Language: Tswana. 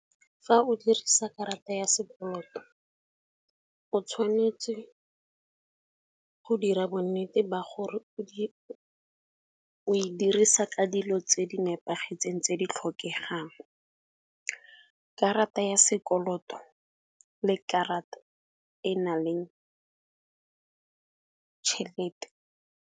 Fa o dirisa karata ya sekoloto, o tshwanetse go dira bonnete ba gore o e dirisa ka dilo tse di nepagetseng tse di tlhokegang, karata ya sekoloto le karata e na le tšhelete.